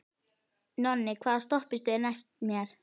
Nonni, hvaða stoppistöð er næst mér?